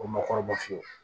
O makɔrɔbaw fiyewu